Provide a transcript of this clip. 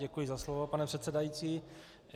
Děkuji za slovo, pane předsedající.